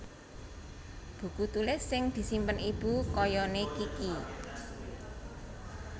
Buku tulis sing disimpen ibu kayane Kiky